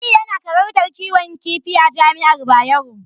Aliyu yana karantar kiwon kifi a Jami'ar Bayero.